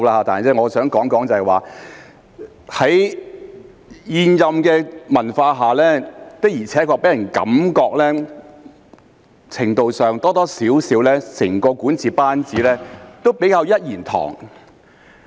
但是，我想說的是，在現任的文化下，的確給人感覺在程度上或多或少整個管治班子都比較"一言堂"。